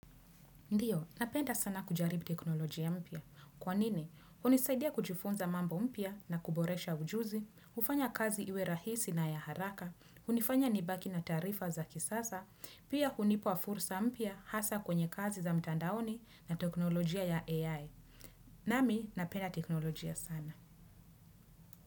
Ndio, napenda sana kujaribu teknolojia mpya. Kwa nini, hunisaidia kujifunza mambo mpya na kuboresha ujuzi, hufanya kazi iwe rahisi na ya haraka, hunifanya nibaki na taarifa za kisasa, pia hunipa fursa mpya hasa kwenye kazi za mtandaoni na teknolojia ya AI. Nami, napenda teknoloji ya sana.